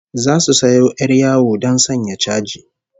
Zasu sayo 'yar yawo don sanya chaji